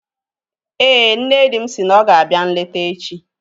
Éè, nne di m si na ọ ga-abịa nleta echi